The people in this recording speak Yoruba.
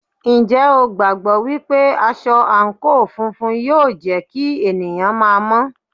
Ǹjẹ́ o gbàgbọ́ wípé aṣọ àǹkóò funfun yóò jẹ́ kí ènìyàn máa mọ́?